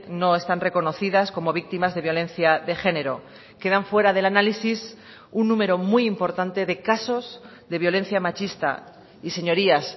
no están reconocidas como víctimas de violencia de género quedan fuera del análisis un número muy importante de casos de violencia machista y señorías